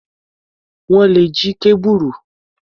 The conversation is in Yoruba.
Wọ́n le jí kábùrù.